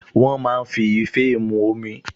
Wọ́n máa ń fi ife mu omi